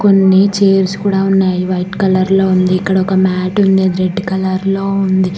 కొన్ని చైర్స్ కూడా ఉన్నాయి వైట్ కలర్ లో ఉంది ఇక్కడొక మ్యాట్ ఉంది అది రెడ్ కలర్ లో ఉంది.